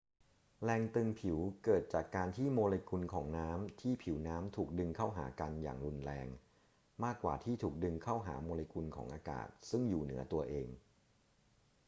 แรงตึงผิวเกิดจากการที่โมเลกุลของน้ำที่ผิวน้ำถูกดึงเข้าหากันอย่างรุนแรง มากกว่าที่ถูกดึงเข้าหาโมเลกุลของอากาศซึ่งอยู่เหนือตัวเอง